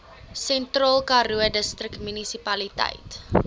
sentraalkaroo distriksmunisipaliteit